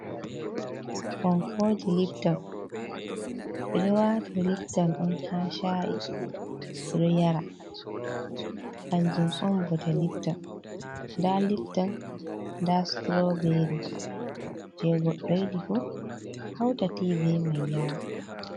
Fonkoji lipton, ɓeɗo wata lipton on ha sha’i ɓeɗo yara, kanjum on bote lipton, nda lipton nda suturoberi je goɗɗo yidi fu hauta ti be mai yara.